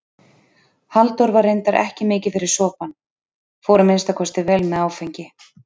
Halldór var reyndar ekki mikið fyrir sopann, fór að minnsta kosti vel með áfengi.